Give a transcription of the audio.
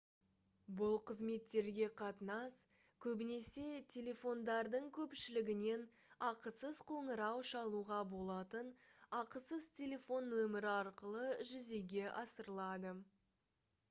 бұл қызметтерге қатынас көбінесе телефондардың көпшілігінен ақысыз қоңырау шалуға болатын ақысыз телефон нөмірі арқылы жүзеге асырылады